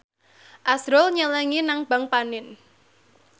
azrul nyelengi nang bank panin